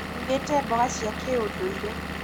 ndugĩte mboga cia kĩ ũndũire